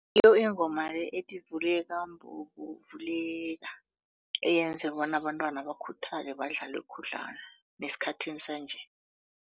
Ngiyo ingoma le ethi vuleka mbobo vuleka eyenza bona abentwana bakhuthale badlale khudlwana nesikhathini sanje.